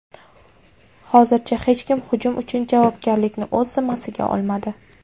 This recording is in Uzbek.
Hozircha hech kim hujum uchun javobgarlikni o‘z zimmasiga olmadi.